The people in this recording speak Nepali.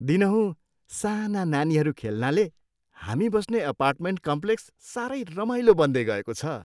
दिनहुँ साना नानीहरू खेल्नाले हामी बस्ने अपार्टमेन्ट कम्प्लेक्स सारै रमाइलो बन्दैगएको छ।